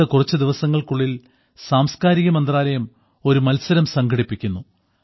അടുത്ത കുറച്ചു ദിവസങ്ങൾക്കുള്ളിൽ സാംസ്കാരിക മന്ത്രാലയം ഒരു മത്സരം സംഘടിപ്പിക്കുന്നു